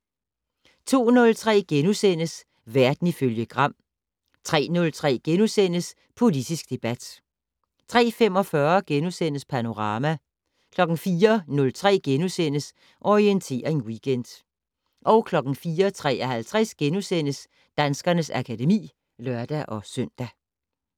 02:03: Verden ifølge Gram * 03:03: Politisk debat * 03:45: Panorama * 04:03: Orientering Weekend * 04:53: Danskernes akademi *(lør-søn)